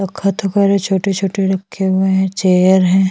जो ख़त्म हो रहे है छोटे -छोटे रखे हुए है चेयर हैं।